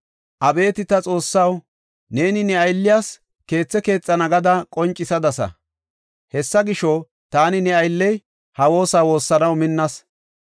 “Abeeti ta Xoossaw, neeni ne aylliyas keethe keexana gada qoncisadasa. Hessa gisho, taani ne aylley ha woosa woossanaw minnas.